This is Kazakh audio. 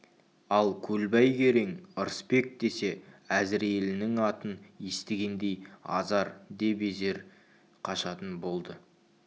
ал көлбай керең ырысбек десе әзірейілінің атын естігендей азар де безер қашатын болды